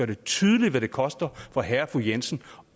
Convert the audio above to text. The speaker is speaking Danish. det tydeligt hvad det koster for herre og fru jensen